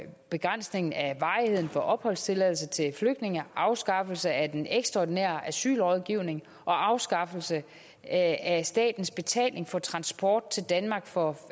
begrænsning af varigheden for opholdstilladelse til flygtninge afskaffelse af den ekstraordinære asylrådgivning og afskaffelse af statens betaling for transport til danmark for